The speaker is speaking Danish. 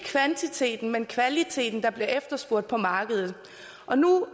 kvantiteten men kvaliteten der bliver efterspurgt på markedet